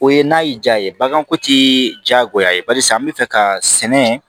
O ye n'a y'i jaa ye baganko tɛ diyagoya ye barisa n bɛ fɛ ka sɛnɛ